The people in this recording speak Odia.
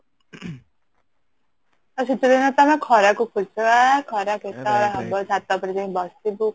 ଆଉ ଶୀତ ଦିନେ ତ ଆମେ ଖରା କୁ ଖରା କେତବଳେ ହବ ଛାତ ଉପରେ ଯାଇ ବସିବୁ